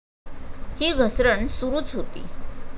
ही घसरण सुरूच होती.